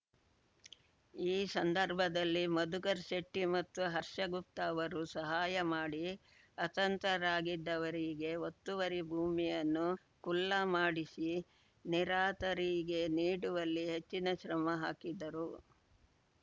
ಈ ಸಂದರ್ಭದಲ್ಲಿ ಮಧುಕರ್‌ಶೆಟ್ಟಿಮತ್ತು ಹರ್ಷಗುಪ್ತ ಅವರು ಸಹಾಯ ಮಾಡಿ ಅತಂತ್ರರಾಗಿದ್ದವರಿಗೆ ಒತ್ತುವರಿ ಭೂಮಿಯನ್ನು ಖುಲ್ಲಾ ಮಾಡಿಸಿ ನಿರಾತರಿಗೆ ನೀಡುವಲ್ಲಿ ಹೆಚ್ಚಿನ ಶ್ರಮ ಹಾಕಿದ್ದರು